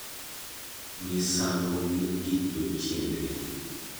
Misango gin gik jo chiende.